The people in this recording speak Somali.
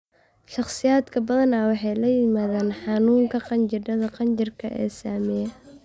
Shakhsiyaadka badanaa waxay la yimaadaan xanuunka qanjidhada qanjidhka ee saameeya.